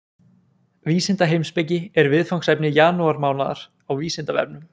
Vísindaheimspeki er viðfangsefni janúarmánaðar á Vísindavefnum.